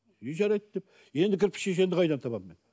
и жарайды деп енді кірпішешенді қайдан табамын мен